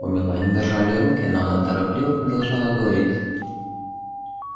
у мелани дрожали руки но она торопливо предложила говорить